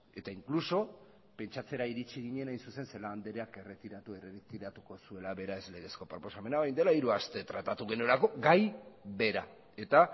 eta inkluso pentsatzera iritsi ginen hain zuzen ere celaá andreak erretiratu ere erretiratuko zuela beraz legezko proposamena orain dela hiru aste tratatu genuelako gai bera eta